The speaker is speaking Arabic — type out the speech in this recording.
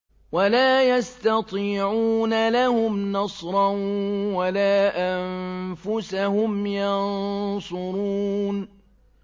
وَلَا يَسْتَطِيعُونَ لَهُمْ نَصْرًا وَلَا أَنفُسَهُمْ يَنصُرُونَ